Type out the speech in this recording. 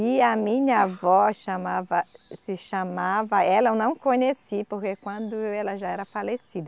E a minha avó chamava, se chamava. Ela eu não conheci, porque quando ela já era falecida.